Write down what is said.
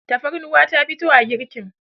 tafarnuwa ta fito a girkin